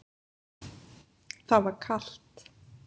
Það var kalt.